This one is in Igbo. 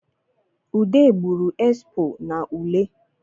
Ude gburu esipo n’ule